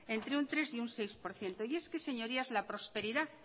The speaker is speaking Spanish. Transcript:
entre un tres y un seis por ciento y es que señorías la prosperidad